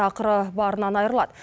ақыры барынан айырылады